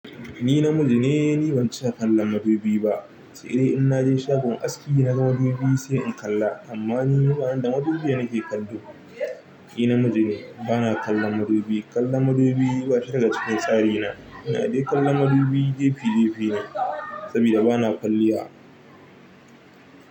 Ni namiji ne, ni ban cika kallon madubi ba. Sai dai in naje shagon aski naga madubi sai in kalla. Amma ni bani da madubi nake kallo. Ni namiji ne, bana kallon madubi. Kallon madubi ba shi daga cikin tsari na. Ina dai kallon madubi jefi jefine, sabida bana kwalliya.